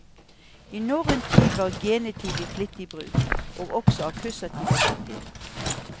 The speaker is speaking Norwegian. I norrøn tid var genitiv i flittig bruk, og også akkusativ og dativ.